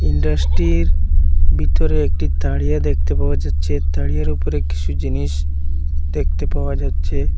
ইন্ডাসটির বিতরে একটি তারিয়া দেখতে পাওয়া যাচ্ছে তারিয়ার ওপরে কিসু জিনিস দেখতে পাওয়া যাচ্ছে।